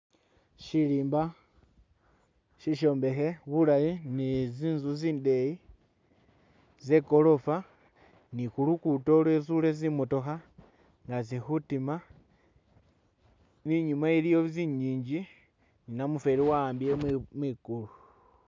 Shirimba shishombekhe bulayi ni zinzu zindeyi zegolofa nikulugudo lwizule zimotoka nga zili khutima inyuma iliyo zingingi ni namufeli wahambule mwigulu